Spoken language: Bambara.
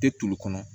Tɛ tulu kɔnɔ